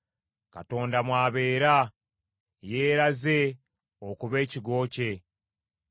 Katonda mw’abeera; yeeraze okuba ekigo kye.